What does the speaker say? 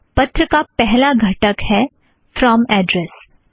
पत्र का पहला घटक है फ़्रोम ऍड़्रेस